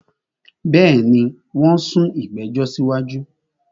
Bẹ́ẹ̀ni, wón sún ìgbẹ̀jọ̀ sí wájú